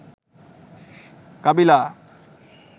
কাবিলা